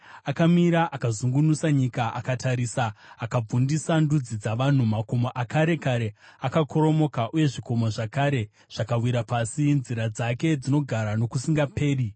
Akamira, akazungunusa nyika; akatarisa, akabvundisa ndudzi dzavanhu. Makomo akare kare akakoromoka uye zvikomo zvakare zvakawira pasi. Nzira dzake dzinogara nokusingaperi.